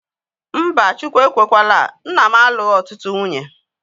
Mba, Chukwu ekwekwaala, nna m alụghi ọtụtụ nwunye